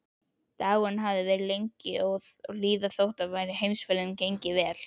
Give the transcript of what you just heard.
Dagurinn hafði verið lengi að líða þótt heimferðin gengi vel.